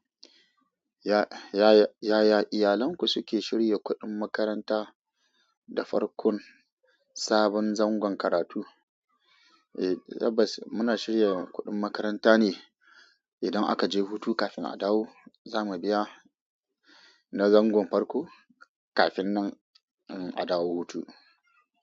Yaya iyalanku suke shirya kudin makaranta da farkon sabon zangon karatu. Eh tabbas muna shirya kuɗin makaranta ne idan aka je hutu kafin a dawo. Za mu biya na zangon farko kafin nan a dawo hutu.